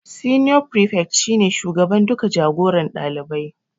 Senior prefect shi ne shugaban duka jagoran ɗalibai